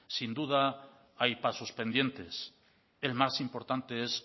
sin duda hay pasos pendientes el más importante es